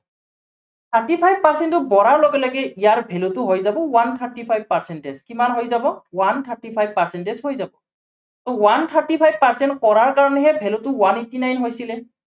thirty five percent টো বঢ়াৰ লগে লগে ইয়াৰ value টো হৈ যাব onev thirty five percentage কিমান হৈ যাব onev thirty five percentage হৈ যাব। ত' one thirty five percentage কৰাৰ কাৰনেহে value টো one eighty nine হৈছিলে।